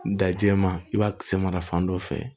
Da jɛman i b'a kisɛ mara fan dɔ fɛ